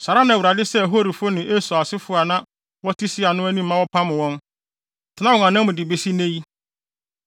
Saa ara na Awurade sɛee Horifo wɔ Esau asefo a na wɔte Seir no anim ma wɔpam wɔn, tenaa wɔn anan mu de besi nnɛ yi.